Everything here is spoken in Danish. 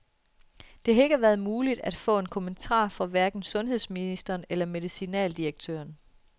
Det har ikke været muligt at få en kommentar fra hverken sundhedsministeren eller medicinaldirektøren.